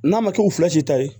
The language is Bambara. N'a ma k'u fila si ta ye